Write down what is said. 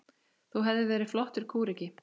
Þú hefðir verið flottur kúreki.